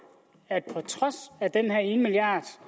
at på trods af den her ene milliard